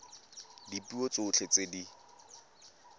ka dipuo tsotlhe tse di